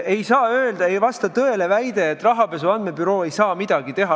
Ei vasta tõele väide, et rahapesu andmebüroo ei saa midagi teha.